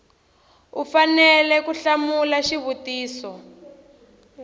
u fanele ku hlamula xivutiso